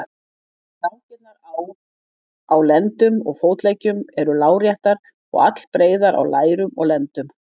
Rákirnar á á lendum og fótleggjum eru láréttar og allbreiðar á lærum og lendum.